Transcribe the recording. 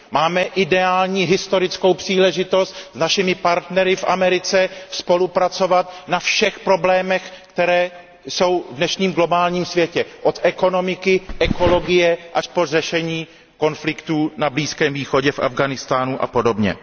Máme ideální historickou příležitost s našimi partnery v Americe spolupracovat na všech problémech, které jsou v dnešním globálním světě, od ekonomiky, ekologie až po řešení konfliktů na Blízkém východě, v Afghánistánu a podobně.